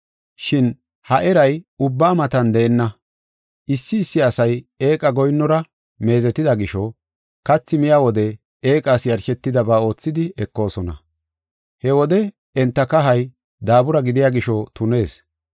Shin ha erey ubba matan deenna. Issi issi asay eeqa goyinnora meezetida gisho, kathi miya wode eeqas yarshetidaba oothidi ekoosona. He wode enta kahay daabura gidiya gisho tunees.